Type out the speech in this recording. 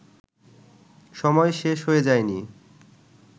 সময় শেষ হয়ে যায়নি